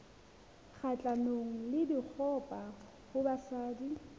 kgahlanong le dikgoka ho basadi